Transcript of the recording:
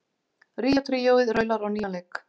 Ríó tríóið raular á nýjan leik